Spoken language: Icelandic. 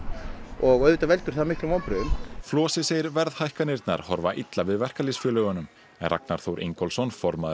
og auðvitað veldur það miklum vonbrigðum Flosi segir verðhækkanirnar horfa illa við verkalýðsfélögunum en Ragnar Þór Ingólfsson formaður